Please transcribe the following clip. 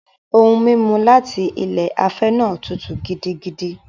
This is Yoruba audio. Ohun-mímu láti ilé afẹ́ náà tútù gidigidi.